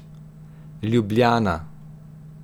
Ljubljana.